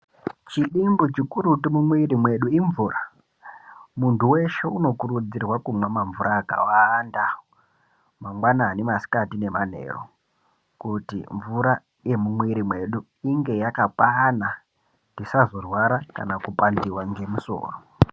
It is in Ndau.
Chidimbu chi kurutu mu mwiri mwedu imvura muntu weshe uno kurudzirwa kumwa ma mvura akawanda mangwani masikati ne manheru kuti mvura yemu mwiri mwedu inge yaka kwana tisazo rwara kana ku pandiwa ne musoro.